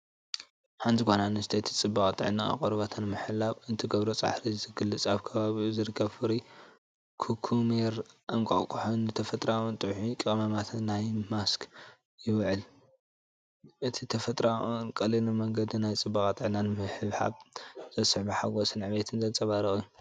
ሓንቲ ጓል ኣንስተይቲ ጽባቐን ጥዕናን ቆርበታ ንምሕላው እትገብሮ ጻዕሪ ዝገልጽ፣ ኣብ ከባቢኡ ዝርከብ ፍሩይ ኩኩሜርን እንቋቑሖን ንተፈጥሮኣውን ጥዑይን ቀመማት ናይቲ ማስክ ይውክል። እዚ ብተፈጥሮኣውን ቀሊልን መንገዲ ናይ ጽባቐን ጥዕናን ምሕብሓብ ዘስዕቦ ሓጎስን ዕግበትን ዘንጸባርቕ እዩ።